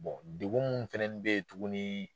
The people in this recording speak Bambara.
dugu mun fɛnɛni bɛ ye tuguni.